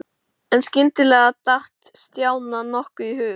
En skyndilega datt Stjána nokkuð í hug.